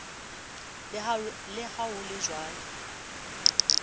le ha ho le jwalo